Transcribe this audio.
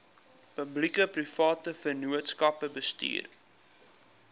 publiekeprivate vennootskappe bestuur